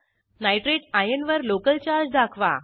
nitrate ion वर local charge दाखवा